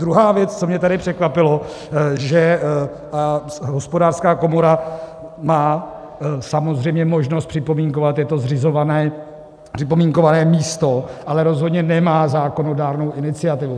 Druhá věc, co mě tady překvapilo, že Hospodářská komora má samozřejmě možnost připomínkovat, je to zřizované připomínkové místo, ale rozhodně nemá zákonodárnou iniciativu.